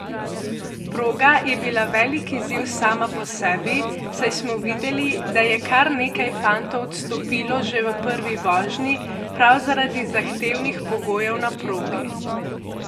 Proga je bila velik izziv sama po sebi, saj smo videli, da je kar nekaj fantov odstopilo že v prvi vožnji, prav zaradi zahtevnih pogojev na progi.